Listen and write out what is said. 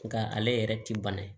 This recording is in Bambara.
Nka ale yɛrɛ ti bana ye